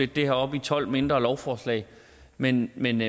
det her op i tolv mindre lovforslag men men